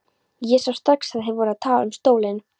Ég sá strax að þeir voru að tala um stólinn.